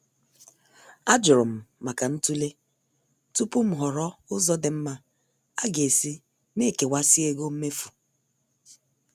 Ajurum maka ntule tupu m ghọrọ ụzọ dị mma aga-esi na-ekewasi ego mmefu.